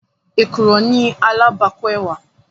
Èkùrọ́ ni alábàákú ẹwà.